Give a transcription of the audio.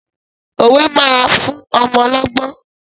Òwe máa fún ọmọ lọ́gbọ́n.